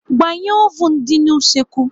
Gbanye ovun dị n'usekwu